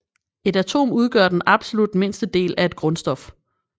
Et atom udgør den absolut mindste del af et grundstof